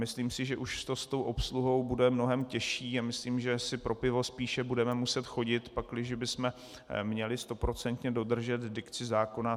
Myslím si, že už to s tou obsluhou bude mnohem těžší, a myslím, že si pro pivo spíš budeme muset chodit, pakliže bychom měli stoprocentně dodržet dikci zákona.